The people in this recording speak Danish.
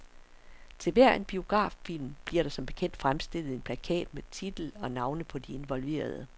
Til hver en biograffilm bliver der som bekendt fremstillet en plakat med titel og navne på involverede.